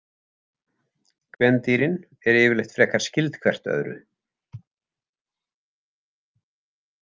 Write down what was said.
Kvendýrin eru yfirleitt frekar skyld hvert öðru.